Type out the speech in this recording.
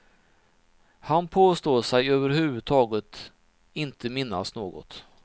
Han påstår sig över huvud taget inte minnas något.